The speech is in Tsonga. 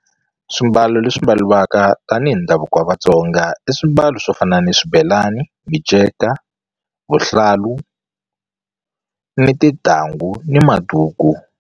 Swimbalo leswi mbaliwaka tanihi ndhavuko wa Vatsonga i swimbalo swo fana na swibelani, miceka, vuhlalu ni tintangu ni maduku.